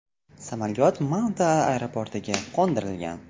Samolyot Malta aeroportiga qo‘ndirilgan.